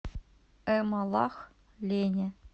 эмалахлени